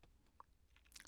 TV 2